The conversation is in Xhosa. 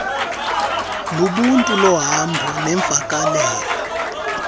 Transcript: lobuntu luhamba neemvakalelo